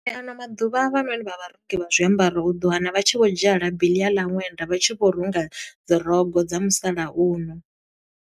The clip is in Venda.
A no maḓuvha havhanoni vha vharungi vha zwiambaro u ḓo wana vha tshi vho dzhia labi eḽia ḽa ṅwenda, vha tshi vho runga dzi rogo dza musalauno.